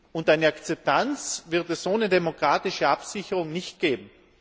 Und eine Akzeptanz wird es ohne demokratische Absicherung nicht geben.